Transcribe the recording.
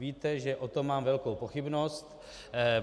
Víte, že o tom mám velkou pochybnost.